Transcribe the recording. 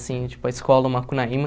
Assim, tipo a escola, o Macunaíma.